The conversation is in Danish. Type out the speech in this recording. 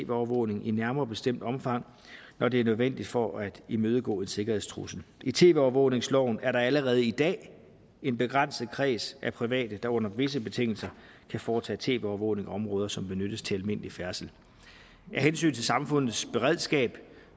overvågning i nærmere bestemt omfang når det er nødvendigt for at imødegå en sikkerhedstrussel i tv overvågningsloven er der allerede i dag en begrænset kreds af private der under visse betingelser kan foretage tv overvågning af områder som benyttes til almindelig færdsel af hensyn til samfundets beredskab